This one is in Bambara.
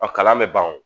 kalan bɛ ban o